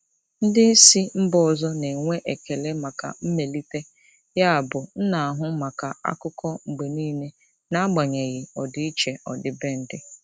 Ndị isi mba ọzọ na-enwe ekele maka mmelite, yabụ m na-ahụ maka akụkọ mgbe niile n'agbanyeghị ọdịiche ọdịbendị.